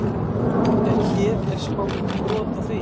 En hér er smá brot af því.